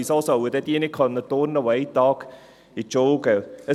Weshalb sollen dann diejenigen nicht turnen können, die einen Tag zur Schule gehen?